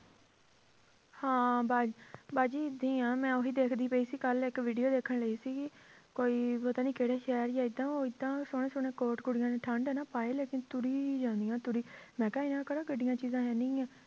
ਹਾਂ ਬਾ~ ਬਾਜੀ ਏਦਾਂ ਹੀ ਆਂ ਮੈਂ ਉਹੀ ਦੇਖਦੀ ਪਈ ਸੀ ਕੱਲ੍ਹ ਇੱਕ video ਦੇਖਣ ਲਈ ਸੀਗੀ ਕੋਈ ਪਤਾ ਨੀ ਕਿਹੜੇ ਸ਼ਹਿਰ ਸੀ ਏਦਾਂ ਉਹ ਏਦਾਂ ਸੋਹਣੇ ਸੋਹਣੇ ਕੋਟ ਕੁੜੀਆਂ ਨੇ ਠੰਢ ਹੈ ਨਾ ਪਾਏ ਲੇਕਿੰਨ ਤੁਰੀ ਜਾਂਦੀਆਂ ਤੁਰੀ, ਮੈਂ ਕਿਹਾ ਇਹਨਾਂ ਨੂੰ ਕਿਹੜਾ ਗੱਡੀਆਂ ਚੀਜ਼ਾਂ ਹੈਨੀ ਗੀਆਂ